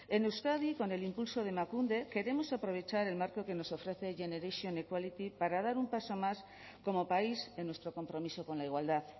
en euskadi con el impulso de emakunde queremos aprovechar el marco que nos ofrece generation equality para dar un paso más como país en nuestro compromiso con la igualdad